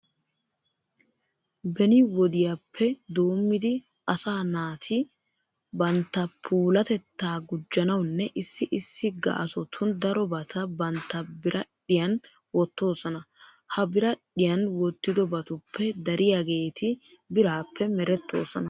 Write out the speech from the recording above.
Beni wodiyappe doommidi asaa naati bantta puulatettaa gujjanawunne issi issi gaasotun darobata bantta biradhdhiyan wottoosona. Ha biradhdhiyan wottiyobatuppe dariyageeti biraappe merettoosona.